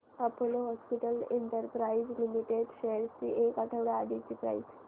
Apollo hospitals enterprises limited shares ची एक आठवड्या आधीची प्राइस